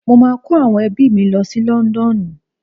Mo máa kó àwọn ẹbí mi lọ sí London.